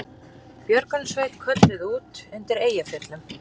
Björgunarsveit kölluð út undir Eyjafjöllum